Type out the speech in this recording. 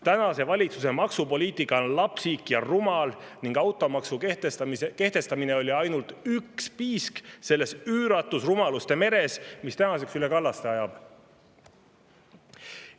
Tänase valitsuse maksupoliitika on lapsik ja rumal ning automaksu kehtestamine oli ainult üks piisk selles üüratus rumaluste meres, mis tänaseks üle kallaste ajab.